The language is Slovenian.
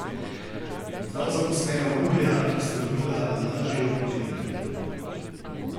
Dva zaposlena v nuklearki sta dobila lažje opekline.